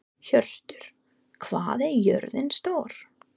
Hjörtur, hvað er jörðin stór?